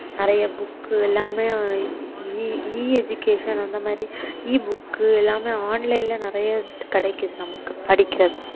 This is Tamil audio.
நிறைய book எல்லாமே EEeducation அந்த மாதிரி Ebook எல்லாமே online ல நிறைய கிடைக்குது நமக்கு படிக்கிறதுக்கு